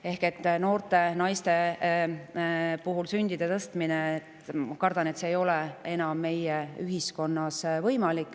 Ehk siis ma kardan, et noorte naiste puhul ei ole sündide tõstmine meie ühiskonnas enam võimalik.